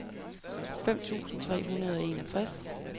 fem tusind tre hundrede og enogtres